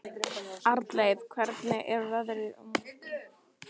Arnleif, hvernig er veðrið á morgun?